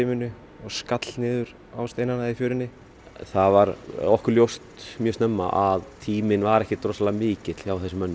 og skall niður á steinana í fjörunni það var okkur ljóst mjög snemma að tíminn var ekki mikill hjá þessum mönnum